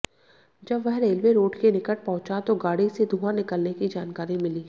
जब वह railway road के निकट पहुंचा तो गाड़ी से धुआं निकलने की जानकारी मिली